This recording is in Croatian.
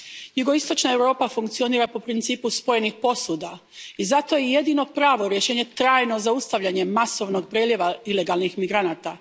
Jugoistočna Europa funkcionira po principu spojenih posuda i zato je jedino pravo rješenje trajno zaustavljanje masovnog preljeva ilegalnih migranata.